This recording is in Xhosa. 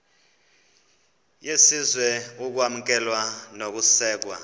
yesizwe ukwamkelwa nokusekwa